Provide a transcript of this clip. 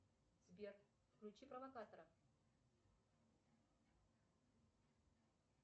сбер включи провокатора